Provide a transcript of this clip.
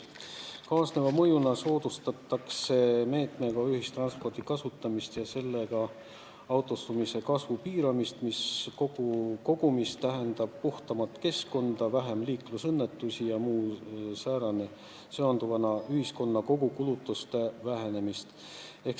Kaasneva mõjuna soodustatakse selle meetmega ühistranspordi kasutamist ja autostumise kasvu piiramist, mis kokkuvõttes tähendab puhtamat keskkonda, vähem liiklusõnnetusi ja üldse ühiskonna kogukulutuste vähenemist.